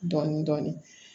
Dɔɔnin dɔɔnin